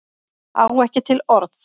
Á ekki til orð